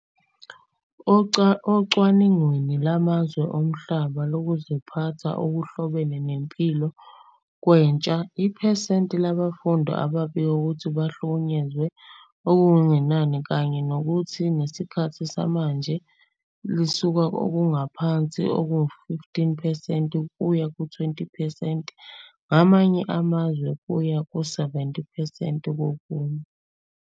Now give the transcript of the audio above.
Ocwaningweni lwamazwe omhlaba lokuziphatha okuhlobene nempilo kwentsha, iphesenti labafundi ababike ukuthi bahlukunyezwa okungenani kanye phakathi nesikhathi samanje lisuka kokuphansi okungu-15 percent kuya ku-20 percent kwamanye amazwe kuya kuma-70 percent kokunye.